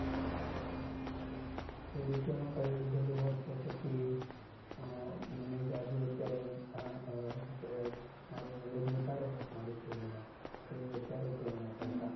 જો diploma માં કરી લીધેલું હોત તો પછી મને જાજુ અત્યારે જાણવા અમ શું કહેવાય? મારું knowledge વધારે હોત મારી field માં જેટલું અત્યારે છે એના કરતા.